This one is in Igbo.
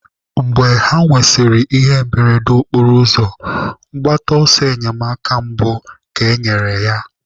Mgbe ha nwesịrị ihe mberede okporoụzọ, mgbata ọsọ enyemaka mbụ ka enyere ya.